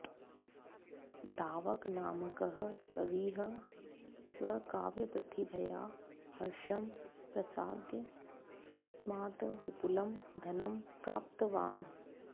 धावकनामकः कविः स्वकाव्यप्रतिभया हर्षं प्रसाद्य तस्मात् विपुलं धनं प्राप्तवान्